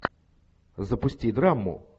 запусти драму